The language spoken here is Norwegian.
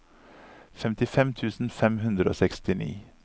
femtifem tusen fem hundre og sekstini